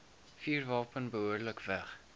vuurwapen behoorlik weg